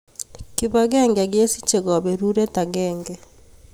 Kibagenge kusichei kaberuret agenge